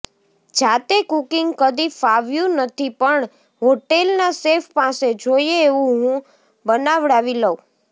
જાતે કુકિંગ કદી ફાવ્યું નથી પણ હોટેલના શેફ પાસે જોઈએ એવું હું બનાવડાવી લઉં